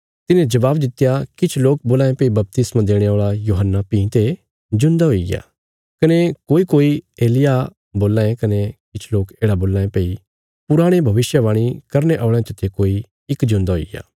तिन्हे जबाब दित्या किछ लोक बोलां ये भई बपतिस्मा देणे औल़ा यूहन्ना भीं ते जिऊंदा हुईग्या कने कोईकोई एलिय्याह बोल्लां यें कने किछ लोक येढ़ा बोल्लां यें भई पुराणे भविष्यवाणी करने औल़यां चते कोई इक जिऊंदा हुईग्या